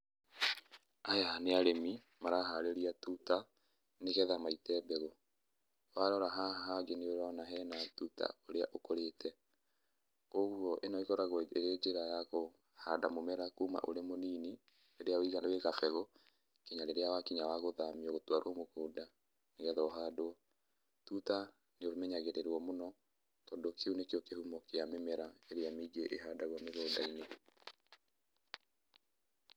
Aya nĩ arĩmi maraharĩria tuta, nĩgetha maite mbegũ. Warora haha hangĩ nĩũrona hena tuta ũrĩa ũkũrĩte. Ũguo ĩno ĩkoragwo ĩrĩ njĩra ya kũhanda mũmera kuma ũrĩ mũnini, rĩrĩa wĩ gabegũ nginya rĩrĩa wakinya wa gũthamio gũtwarwo mũgũnda nĩgetha ũhandwo. Tuta nĩũmenyagĩrĩrĩo mũno. tondũ kĩu nĩkĩo kĩhumo kĩa mĩmera ĩrĩa mĩingĩ ĩhandagwo mĩgũnda-inĩ.